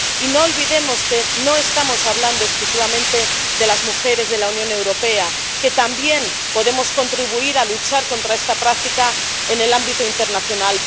Y no olvidemos que no estamos hablando exclusivamente de las mujeres de la Unión Europea, que también podemos contribuir a luchar contra esta práctica en el ámbito internacional.